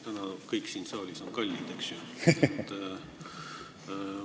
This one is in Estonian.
Täna kõik siin saalis on kallid, eks ju.